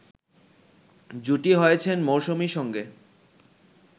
জুটি হয়েছেন মৌসুমীর সঙ্গে